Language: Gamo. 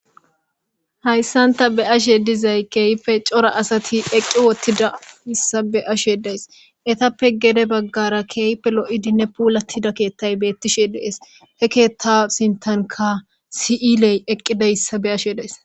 Haysan ta be'ashe dizay keehippe cora asati eqqi uttidaysa be'ashe days. Eetape gede bagara keehippe lo'idinne puulatida keetay beetishe de'ees. He keeta sintanka si'iley eqqidaysa be'ays